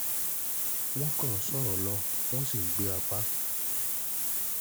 wọ́n kàn ń sọ̀rọ̀ lọ wọ̀n sí ń gbé apá